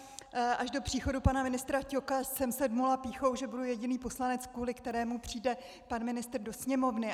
Až do příchodu pana ministra Ťoka jsem se dmula pýchou, že budu jediný poslanec, kvůli kterému přijde pan ministr do sněmovny.